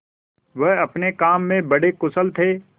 वह अपने काम में बड़े कुशल थे